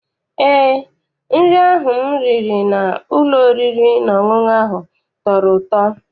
Eé, nri ahụ m riri n'ụlọ oriri na ọṅụṅụ ahụ tọrọ ụtọ.